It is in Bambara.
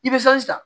I bɛ fɛn san